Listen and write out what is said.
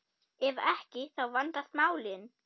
Ef ekki, þá vandast málin.